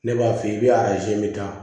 Ne b'a f'i ye i bɛ azini min ta